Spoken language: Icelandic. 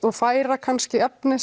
og færa kannski efni